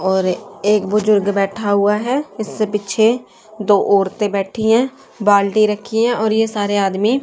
और एक बुजुर्ग बैठा हुआ है जिसके पीछे दो औरतें बैठी हैं बाल्टी रखी है और ये सारे आदमी--